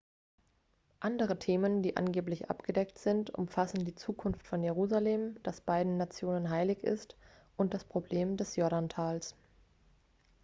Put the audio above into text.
andere themen die angeblich abgedeckt sind umfassen die zukunft von jerusalem das beiden nationen heilig ist und das problem des jordantals